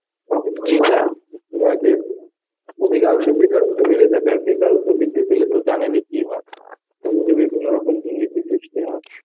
তখন যে অধিকাংশ বেকারত্ব বেড়ে যায়. আর বেকারত্ব বৃদ্ধি পেলে তো জানেনই কি হয়. আমাদের বিভিন্ন রকম দুর্নীতি সৃষ্টি হয়.